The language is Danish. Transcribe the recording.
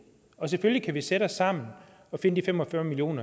selvfølgelig kan vi sætte os sammen og finde de fem og fyrre million